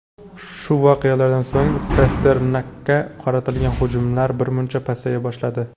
Shu voqealardan so‘ng Pasternakka qaratilgan hujumlar birmuncha pasaya boshladi.